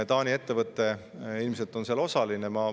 Taani ettevõte ilmselt on seal osaline.